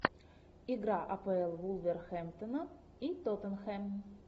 игра апл вулверхэмптона и тоттенхэм